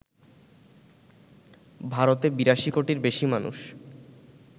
ভারতে ৮২ কোটির বেশি মানুষ